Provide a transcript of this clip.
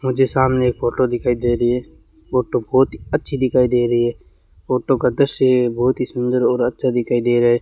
मुझे सामने फोटो दिखाई दे री है फोटो बहोत ही अच्छी दिखाई दे रही है फोटो का दृश्य बहोत ही सुंदर और अच्छा दिखाई दे रहा है।